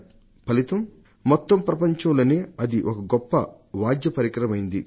ఫలితం మొత్తం ప్రపంచంలోనే అది ఒక గొప్ప వాద్యపరికరమైంది